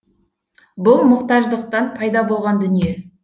бұл мұқтаждықтан пайда болған дүние